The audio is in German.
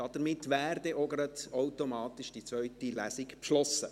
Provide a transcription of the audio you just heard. Damit wäre auch die zweite Lesung automatisch beschlossen.